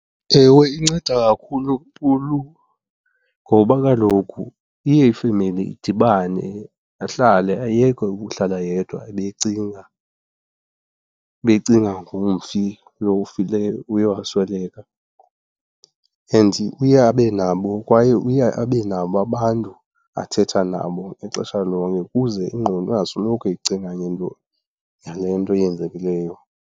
Ewe, inceda kakhulu. Ngoba kaloku iye ifemeli idibane, ahlale ayeke ukuhlala yedwa abe ecinga, abe ecinga ngomfi lo ufileyo, uye wasweleka. And uye abe nabo, kwaye uye abe nabo abantu athetha nabo ixesha lonke ukuze ingqondo angasoloko ecinga ngento, ngale nto yenzekileyo.